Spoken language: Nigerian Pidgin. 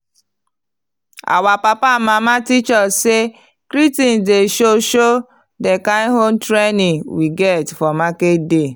our papa and mama teach us say greeting dey show show the kind home training we get for market day.